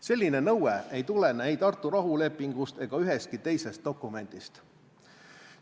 Selline nõue ei tulene ei Tartu rahulepingust ega ühestki teisest dokumendist.